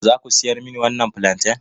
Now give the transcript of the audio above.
Za ku siyar mani wannan fulanten?